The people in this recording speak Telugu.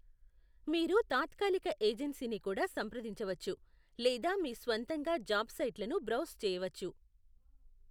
మీరు తాత్కాలిక ఏజెన్సీని కూడా సంప్రదించవచ్చు లేదా మీ స్వంతంగా జాబ్ సైట్లను బ్రౌజ్ చేయవచ్చు.